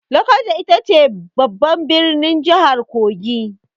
Lokoja ita ce babban birnin jihar Kogi.